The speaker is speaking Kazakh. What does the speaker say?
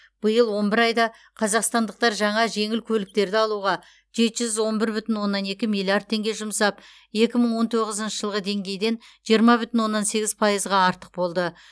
биылғы он бір айда қазақстандықтар жаңа жеңіл көліктерді алуға жеті жүз он бір бүтін оннан екі миллиард теңге жұмсап екі мың он тоғызыншы жылғы деңгейден жиырма бүтін оннан сегіз пайызға артық болды